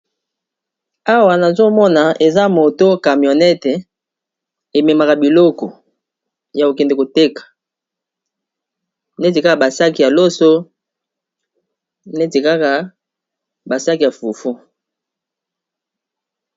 awa nazomona eza moto camionete ememaka biloko ya kokende koteka neti kaka basaki ya loso netikaka basaki ya fufu